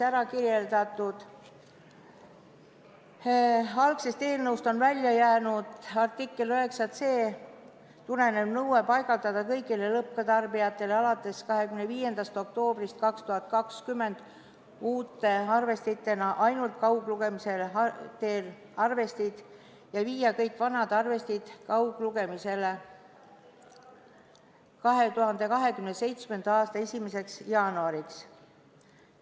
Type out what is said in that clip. Algsest eelnõust on välja jäänud artiklist 9c tulenev nõue paigaldada kõigile lõpptarbijatele alates 25. oktoobrist 2020 uute arvestitena ainult kaugloetavad arvestid ja asendada kõik vanad arvestid 2027. aasta 1. jaanuariks kaugloetavatega.